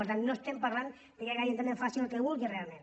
per tant no estem parlant que cada ajuntament faci el que vulgui realment